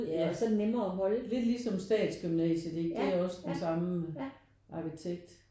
Ja lidt ligesom Statsgymnasiet ikke? Det er også den samme arkitekt